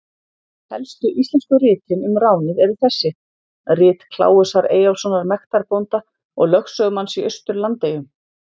Helstu íslensku ritin um ránið eru þessi: Rit Kláusar Eyjólfssonar mektarbónda og lögsögumanns í Austur-Landeyjum.